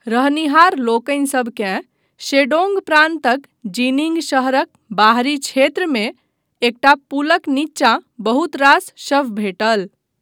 रहनिहार लोकनिसभकेँ, शेडोंग प्रान्तक जीनिंग शहरक बाहरी क्षेत्रमे एकटा पुलक नीचाँ बहुत रास शव भेटल।